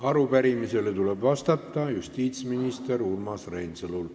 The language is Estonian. Arupärimisele tuleb vastata justiitsminister Urmas Reinsalul.